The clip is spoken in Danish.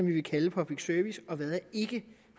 vi vil kalde public service